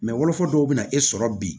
wolofɔ dɔw bɛ na e sɔrɔ bi